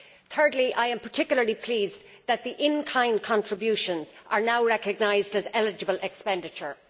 Thirdly, I am particularly pleased that the in kind contributions are now recognised as eligible expenditure.